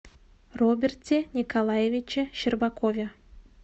роберте николаевиче щербакове